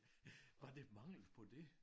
Var der mangel på det?